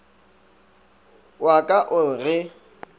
wa ka o re ge